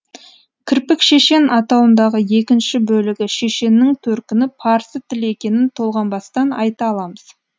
кірпікшешен атауындағы екінші бөлігі шешеннің төркіні парсы тілі екенін толғанбастан айта аламыз